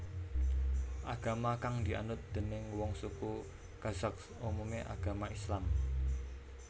Agama kang dianut déning wong suku Kazakh umumé agama Islam